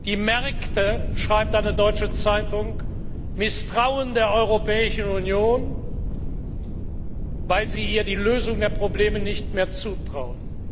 Die Märkte schreibt eine deutsche Zeitung misstrauen der Europäischen Union, weil sie ihr die Lösung der Probleme nicht mehr zutrauen.